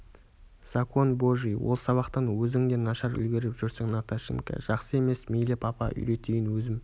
закон божий ол сабақтан өзің де нашар үлгеріп жүрсің наташенька жақсы емес мейлі папа үйретейін өзім